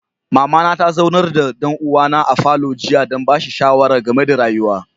Mama na ta zaunar da dan'uwa na a falo jiya dan bashi shawara game da rayuwa.